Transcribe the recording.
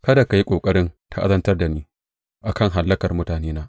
Kada ka yi ƙoƙarin ta’azantar da ni a kan hallakar mutanena.